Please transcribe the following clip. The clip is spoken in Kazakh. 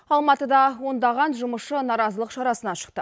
алматыда ондаған жұмысшы наразылық шарасына шықты